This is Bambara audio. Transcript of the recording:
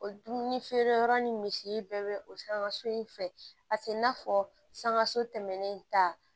O dumuni feereyɔrɔ ni misi bɛɛ bɛ o san so in fɛ a tɛ i n'a fɔ sankaso tɛmɛnen ta